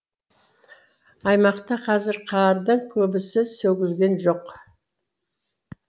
аймақта қазір қардың көбісі сөгілген жоқ